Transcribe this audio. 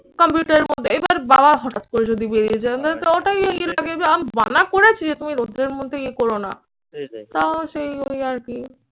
কম্পিউটারের মধ্যে। এবার বাবা হঠাৎ করে যদি বেরিয়ে যায় তো ওটাই আমি মানা করেছি যে তুমি রৌদ্রের মধ্যে ইয়ে করো না। তাও সেই ওই আরকি